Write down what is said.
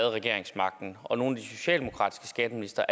regeringsmagten og nogle af de socialdemokratiske skatteministre